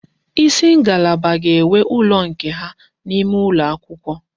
Isi ngalaba ga-enwe ụlọ nke ha n'ime ụlọ akwụkwọ